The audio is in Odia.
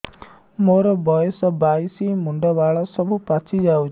ମୋର ବୟସ ବାଇଶି ମୁଣ୍ଡ ବାଳ ସବୁ ପାଛି ଯାଉଛି